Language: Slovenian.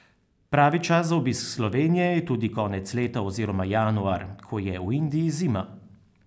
Pravi čas za obisk Slovenije je tudi konec leta oziroma januar, ko je v Indiji zima.